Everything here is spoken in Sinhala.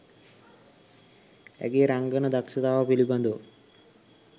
ඇගේ රංගන දක්ෂතාව පිළිබඳව